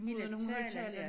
Hele talen ja